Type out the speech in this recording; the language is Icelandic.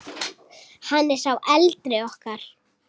Hann er sá eldri okkar.